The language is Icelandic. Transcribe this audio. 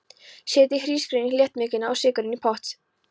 Setjið hrísgrjónin, léttmjólkina og sykurinn í pott.